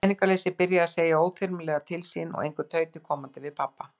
Peningaleysið byrjað að segja óþyrmilega til sín og engu tauti komandi við pabba.